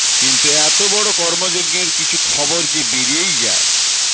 কিন্তু এত বড় কর্মযজ্ঞের কিছু খবর যে বেরিয়েই যায়